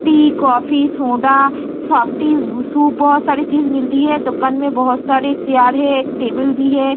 T coffee soda softy soup बहुत सारी चीज मिलती है दुकान में बहुत सारी चियर है एक टेबल भी है।